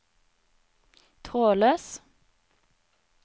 trådløs